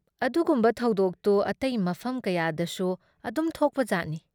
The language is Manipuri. ꯑꯗꯨꯒꯨꯝꯕ ꯊꯧꯗꯣꯛꯇꯨ ꯑꯇꯩ ꯃꯐꯝ ꯀꯌꯥꯗꯁꯨ ꯑꯗꯨꯝ ꯊꯣꯛꯄꯖꯥꯠꯅꯤ ꯫